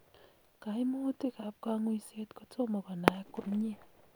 kaimutiik ab kang'uiset kotoma konaak komyiee